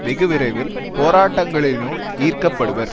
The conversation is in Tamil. வெகுவிரைவில் போராட்டங்களினுள் ஈர்க்கப்படுவர்